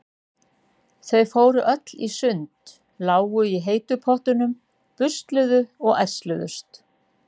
Þau fóru öll í sund, lágu í heitu pottunum, busluðu og ærsluðust.